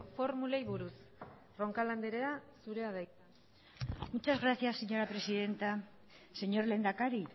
formulei buruz roncal andrea zurea da hitza muchas gracias señora presidenta señor lehendakari